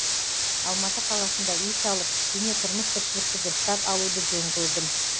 алматы қаласында үй салып кішкене тұрмыс тіршілікті дұрыстап алуды жөн көрдім